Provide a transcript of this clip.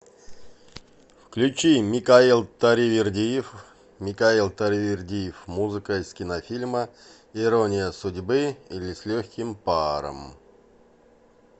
включи микаэл таривердиев микаэл таривердиев музыка из кинофильма ирония судьбы или с легким паром